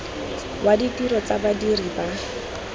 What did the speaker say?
wa ditiro tsa badiri ba